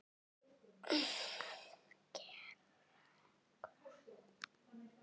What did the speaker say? Að gera hvað?